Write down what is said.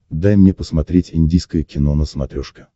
дай мне посмотреть индийское кино на смотрешке